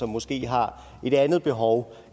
måske har et andet behov